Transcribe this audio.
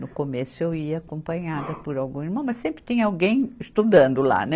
No começo eu ia acompanhada por algum irmão, mas sempre tinha alguém estudando lá, né?